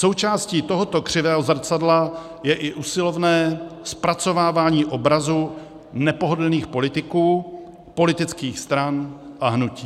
Součástí tohoto křivého zrcadla je i usilovné zpracovávání obrazu nepohodlných politiků, politických stran a hnutí.